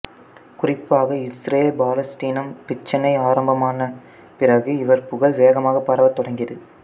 குறிப்பாக இசுரேல் பாலஸ்தீனம் பிச்சினை ஆரம்பமான பிறகு இவர் புகழ் வேகமாக பரவத் தொடங்கியது